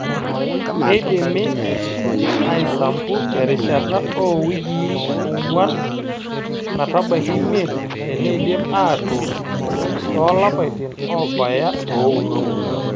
Keidimi aisampu terishata oo wikiii ong'wan metabaiki imiet teneidpi aatuun naa toolapaitin oobaya ooudo.